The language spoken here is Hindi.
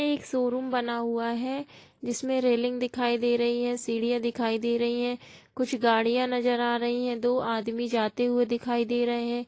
यह एक शोरूम बना हुआ है जिसमे रेलिंग दिखाई दे रही है सीढ़ियां दिखाई दे रही है कुछ गाड़ियां नजर आ रही है दो आदमी जाते हुए दिखाई दे रहे हैं।